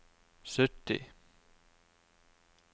sytti